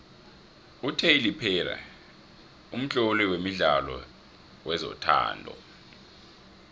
utylor perry mtloli wemidlalo wezothando